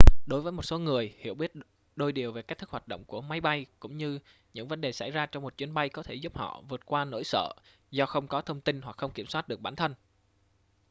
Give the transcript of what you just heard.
đối với một số người hiểu biết đôi điều về cách thức hoạt động của máy bay cũng như những vấn đề xảy ra trong một chuyến bay có thể giúp họ vượt qua nỗi sợ do không có thông tin hoặc không kiểm soát được bản thân